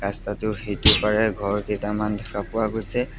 টোৰ সিটো পাৰে ঘৰ কেইটামান দেখা পোৱা গৈছে।